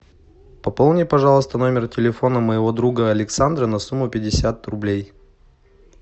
пополни пожалуйста номер телефона моего друга александра на сумму пятьдесят рублей